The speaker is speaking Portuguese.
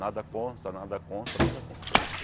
Nada consta, nada consta, nada consta.